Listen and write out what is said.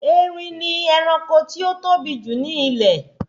Erin ni ẹranko tí ó tóbi jù ní ilẹ̀